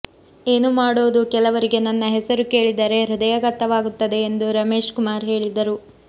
ಏನು ಮಾಡೋದು ಕೆಲವರಿಗೆ ನನ್ನ ಹೆಸರು ಕೇಳಿದರೆ ಹೃದಯಾಘಾತವಾಗುತ್ತದೆ ಎಂದು ರಮೇಶ್ ಕುಮಾರ್ ಹೇಳಿದರು